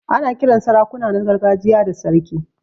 Ana Kiran sarakuna na gargajiya da sarki.